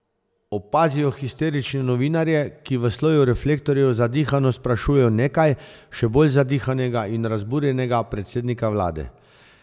Opazijo histerične novinarje, ki v soju reflektorjev zadihano sprašujejo nekaj, še bolj zadihanega in razburjenega predsednika vlade.